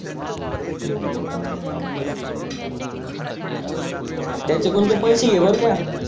त्याचा कुण ते पैसे घे बर का